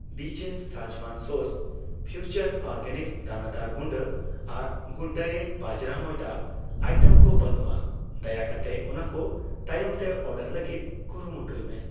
ᱵᱤᱪᱮᱯᱷ Schezwan sauce, Future Organics ᱫᱟᱱᱟᱫᱟᱨ ᱜᱩᱰᱟᱹ ᱟᱨ ᱜᱩᱰᱰᱟᱭᱮᱴ ᱵᱟᱡᱨᱟ ᱢᱚᱭᱫᱟ ᱟᱭᱴᱮᱢ ᱠᱚ ᱵᱟᱹᱱᱩᱜᱼᱟ, ᱫᱟᱭᱟ ᱠᱟᱛᱮ ᱚᱱᱟᱠᱚ ᱛᱟᱭᱚᱢᱛᱮ ᱚᱨᱰᱟᱨ ᱞᱟᱹᱜᱤᱛ ᱠᱩᱨᱩᱢᱩᱴᱩᱭ ᱢᱮ ᱾